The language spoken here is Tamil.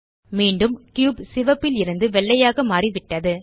மீண்டும் கியூப் சிவப்பில் இருந்து வெள்ளையாக மாறியுள்ளது